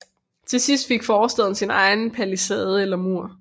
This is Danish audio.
Til sidst fik forstaden sin egen palisade eller mur